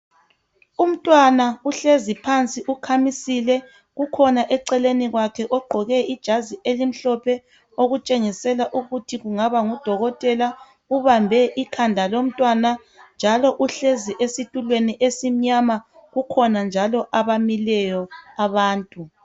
Umntwana uhlezi phansi ukhamisile, kukhona eceleni kwakhe ogqoke ijazi elimhlophe okutshengisela ukuthi kungaba ngudokotela. Ubambe ikhanda lomntwana njalo uhlezi esitulweni esimnyama. Kukhona njalo abamileyo abantu.